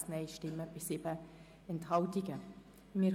Ich erteile zuerst Grossrätin Stucki für die FiKo das Wort.